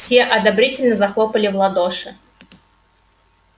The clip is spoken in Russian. все одобрительно захлопали в ладоши